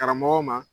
Karamɔgɔw ma